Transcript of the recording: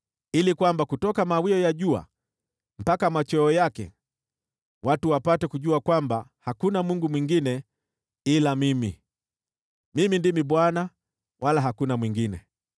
ili kutoka mawio ya jua mpaka machweo yake, watu wapate kujua kwamba hakuna Mungu mwingine ila Mimi. Mimi ndimi Bwana wala hakuna mwingine.